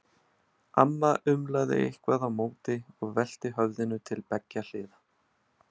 Amma umlaði eitthvað á móti og velti höfðinu til beggja hliða.